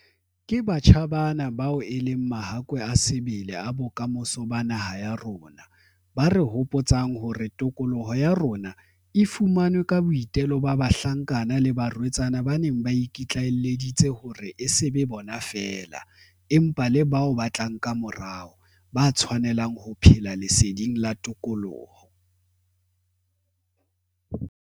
Ke batjha bana bao e leng mahakwe a sebele a bokamoso ba naha ya rona, ba re hopotsang hore tokoloho ya rona e fumanwe ka boitelo ba bahlankana le barwetsana ba neng ba iki tlaelleditse hore e se be bona feela, empa le bao ba tlang kamorao, ba tshwanelang ho phela leseding la tokoloho.